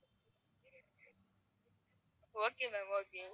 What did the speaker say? okay ma'am okay